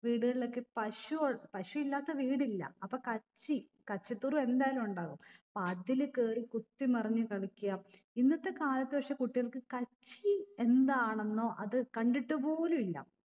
വീടുകളിലൊക്കെ പശു ഉ പശു ഇല്ലാത്ത വീടില്ല അപ്പൊ കച്ചി കച്ചിത്തുരു എന്തായാലു ഉണ്ടാകും അപ്പൊ അതില് കേറി കുത്തി മറിഞ്ഞ് കളിക്ക ഇന്നത്തെ കാലത്ത് പക്ഷെ കുട്ടികൾക്ക് കച്ചി എന്താണെന്നോ അത് കണ്ടിട്ട് പോലു ഇല്ല